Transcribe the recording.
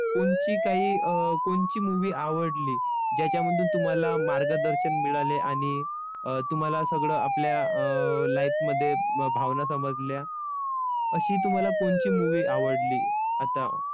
कोणची काही अं कोणची movie आवडली? ज्याच्यामधून तुम्हाला मार्गदर्शन मिळाले आणि अं तुम्हाला सगळं आपल्या अं life मध्ये भावना समजल्या, अशी तुम्हाला कोणची movie आवडली आता?